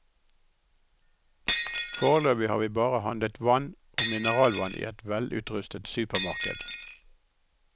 Foreløpig har vi bare handlet vann og mineralvann i et velutrustet supermarked.